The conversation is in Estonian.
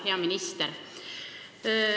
Hea minister!